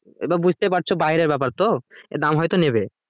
এবার বুঝতেই পারছো বাইরের ব্যাপার তো এ দাম হয়তো নেবে।